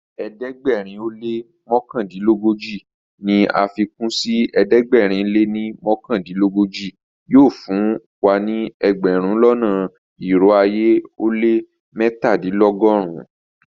Ẹdẹgbẹ̀rin o lẹ́ mọkandinlọgọ́ji ní afikun sí ẹdẹgbẹ̀rin o lẹ́ mọkandinlọgọ́ji yóò fún ẹgbẹ̀rún lọ́nà irò ayé ó lẹ́ mẹ́tàdìnlọ́gọ́run-un.